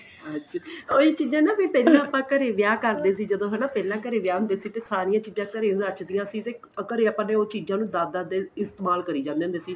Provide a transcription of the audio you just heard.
ਅੱਛਾ ਉਹੀ ਚੀਜਾਂ ਨਾ ਪਹਿਲਾਂ ਆਪਾਂ ਘਰੇ ਵਿਆਹ ਕਰਦੇ ਸੀ ਜਦੋਂ ਹਨਾ ਪਹਿਲਾਂ ਘਰੇ ਵਿਆਹ ਹੁੰਦੇ ਸੀ ਤੇ ਸਾਰੀਆਂ ਚੀਜਾਂ ਘਰੇ ਬਚਦੀਆਂ ਸੀ ਤੇ ਘਰੇ ਆਪਾਂ ਉਹ ਚੀਜਾਂ ਨੂੰ ਦਸ ਦਸ ਦਿਨ ਇਸਤੇਮਾਲ ਕਰੀ ਜਾਂਦੇ ਹੁੰਦੇ ਸੀ